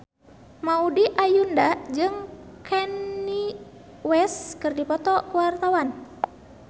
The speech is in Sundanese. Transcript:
Maudy Ayunda jeung Kanye West keur dipoto ku wartawan